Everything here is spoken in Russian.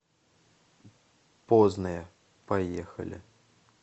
позная поехали